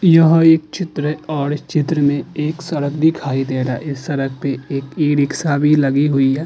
यह एक चित्र है और इस चित्र में एक सड़क दिखाई दे रहा है। इस सड़क पे एक ई-रिक्शा भी लगी हुई है।